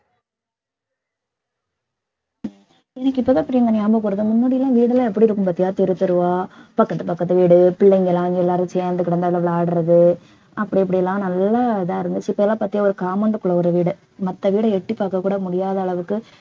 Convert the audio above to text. எனக்கு இப்பதான் பிரியங்கா ஞாபகம் வருது முன்னாடி எல்லாம் வீடெல்லாம் எப்படி இருக்கும் பாத்தியா தெரு தெருவா பக்கத்து பக்கத்து வீடு பிள்ளைங்க எல்லாம் எல்லாரும் சேர்ந்து கிடந்து எல்லாம் விளையாடுறது அப்படி இப்படி எல்லாம் நல்ல இதா இருந்துச்சு இப்பெல்லாம் பாத்தியா ஒரு compound க்குள்ள ஒரு வீடு மத்த வீட எட்டிப் பாக்க கூட முடியாத அளவுக்கு